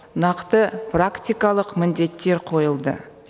нақты практикалық міндеттер қойылды